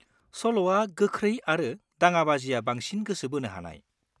सल'आ गोख्रै आरो दाङाबाजिया बांसिन गोसो बोनो हानाय।